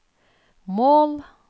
mål